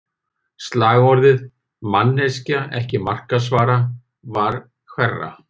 Slagorðið, “manneskja, ekki markaðsvara” var hverra?